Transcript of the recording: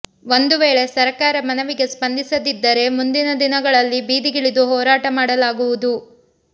ಒಂದು ವೇಳೆ ಸರಕಾರ ಮನವಿಗೆ ಸ್ಪಂದಿಸದಿದ್ದರೆ ಮುಂದಿನ ದಿನಗಳಲ್ಲಿ ಬೀದಿಗಿಳಿದು ಹೋರಾಟ ಮಾಡಲಾಗುವುದು